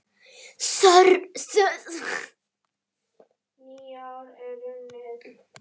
Þörfin var mikil.